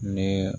Ne